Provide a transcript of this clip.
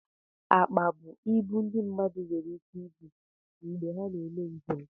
Akpa bụ ibu ndị mmadụ nwere ike ibu mgbe ha na-eme njem